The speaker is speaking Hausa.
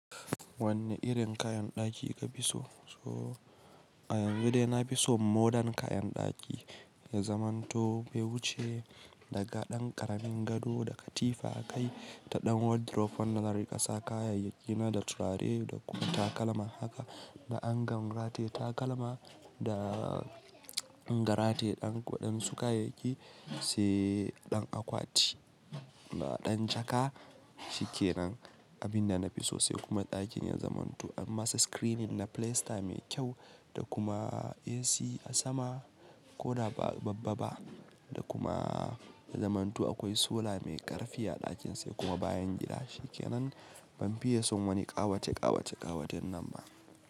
Wanne irin kayan ɗaki ka fi so? A yanzu dai na fi so modern kayan ɗaki ya zamanto. Bai wuce daga ɗan ƙaramin gado da katifa akai, ta ɗan wardrobe wanda zan riƙa sa kayayyaki na da turare da kuma takalma haka. Na angan rataye takalma da garataye ɗan ko ɗan sukayaki sai ɗan akwati da ɗan jaka. Shikenan abinda na fi so sai kuma ɗakin na zamanto amma screening na pilista mai kyau da kuma AC a sama ko da ba babba ba. Da kuma na zamanto akwai sola mai ƙarfi a ɗakin sai kuma bayan gida. Shikenan ban fiye son wani ƙawate ƙawate ƙawaten nan ba.